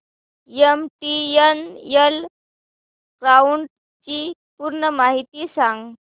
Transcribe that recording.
MTNL cloud ची पूर्ण माहिती सांग